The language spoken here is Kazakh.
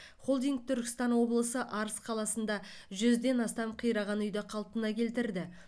холдинг түркістан облысы арыс қаласында жүзден астам қираған үйді қалпына келтірді